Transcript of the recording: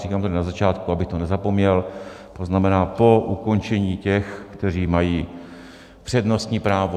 Říkám to tady na začátku, abych to nezapomněl, to znamená, po ukončení těch, kteří mají přednostní právo.